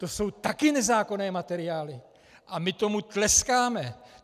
To jsou taky nezákonné materiály a my tomu tleskáme.